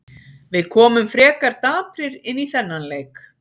Við komum frekar daprir inn í þennan leik.